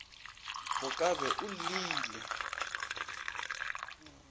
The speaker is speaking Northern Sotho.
o ka be o llile